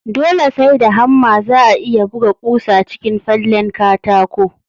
Dole sai da hamma za'a iya buga ƙusa cikin fallen katako